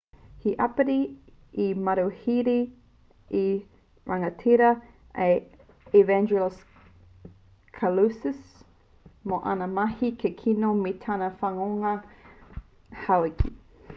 hei āpiti i mauheretia te tiati rangatira a evangelos kalousis mō āna mahi kikino me tana whanonga tauheke